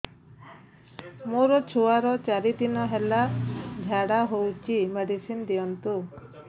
ମୋର ଛୁଆର ଚାରି ଦିନ ହେଲା ଝାଡା ହଉଚି ମେଡିସିନ ଦିଅନ୍ତୁ